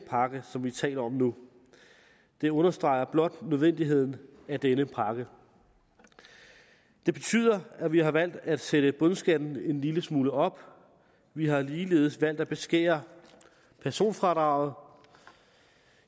pakke som vi taler om nu det understreger blot nødvendigheden af denne pakke det betyder at vi har valgt at sætte bundskatten en lille smule op og vi har ligeledes valgt at beskære personfradraget